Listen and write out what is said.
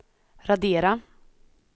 radera